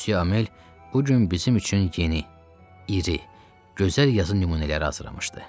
Müsyö Amel bu gün bizim üçün yeni, iri, gözəl yazı nümunələri hazırlamışdı.